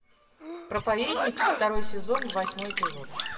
проповедник второй сезон восьмой эпизод